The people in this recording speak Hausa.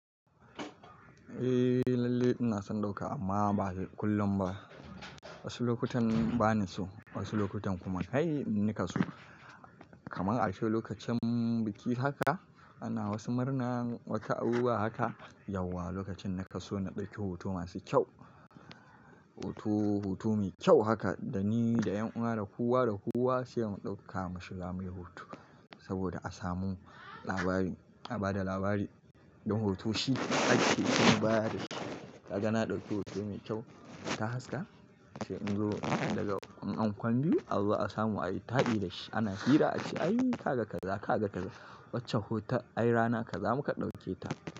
Eh lalle ina son ɗauka amma ba kullum ba. Wasu lokutan bani so, wasu lokutan kuma kai nika so. Kamar a cewa lokacin biki haka ana wasu murna wata aure haka, yauwa lokacin naka so na ɗauki hoto masu kyau. Hoto, hoto mai kyau haka da ni da ƴan uwa da kowa da kowa sai mu ɗauka mu shiga muyi hoto. Saboda a samu labari, a bada labari. Don hoto shi ake yin bayani. Ka ga na ɗauki hoto mai kyau ta haska, ace in zo daga ankon biyu Allah a samu ayi ta'i da shi. Ana hira ace ai ka ga kaza, ka ga kaza wacce hoton ayi rana ka zamu ka ɗauke ta.